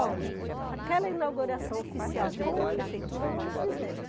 Olha, aquela inauguração oficial com a Prefeitura, nós não fizemos.